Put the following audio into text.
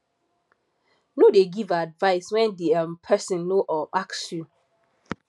no dey give advice when di um person no um ask you